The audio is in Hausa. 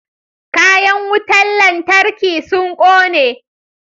Kayan wutan lantarkin sun kone.